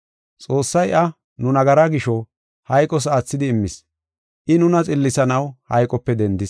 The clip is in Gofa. Xoossay iya nu nagara gisho, hayqos aathidi immis; I nuna xillisanaw hayqope dendis.